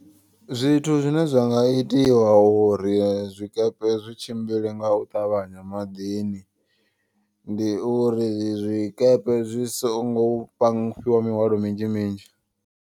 Zwithu zwine zwanga itiwa uri zwikepe zwi tshimbile nga u ṱavhanya maḓini. Ndi uri zwikepe zwi songo panga fhiwa mihwalo minzhi minzhi.